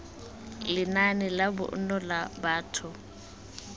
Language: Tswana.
lenaane la bonno la batho